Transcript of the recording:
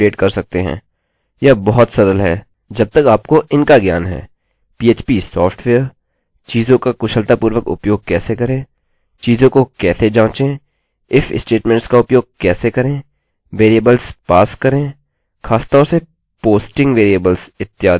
यह बहुत सरल है जब तक आपको इनका ज्ञान है